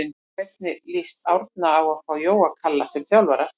Hvernig lýst Árna á að fá Jóa Kalla sem þjálfara?